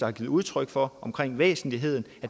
har givet udtryk for omkring væsentlighed